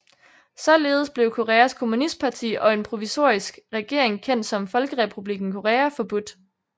Således blev Koreas kommunistparti og en provisorisk regering kendt som Folkerepublikken Korea forbudt